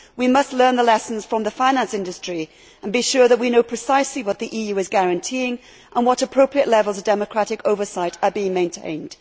We must learn the lessons from the finance industry and be sure that we know precisely what the EU is guaranteeing and what appropriate levels of democratic oversight are being maintained.